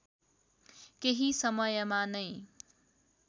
केही समयमा नै